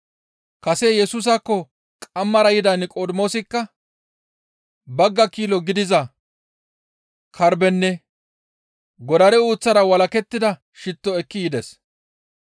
Kase Yesusaakko qamara yida Niqodimoosikka bagga kilo gidiza karbbenne godare uuththara walakettida shitto ekki yides.